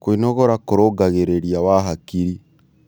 Kwĩnogora kũrũngagĩrĩrĩa wa hakĩrĩ